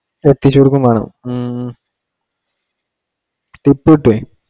എത്തിച്ചു കൊടുക്കേം വേണം ഉം tip കിട്ടുവെ